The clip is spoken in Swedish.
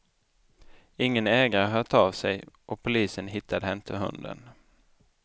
Ingen ägare har hört av sig och polisen hittade inte hunden.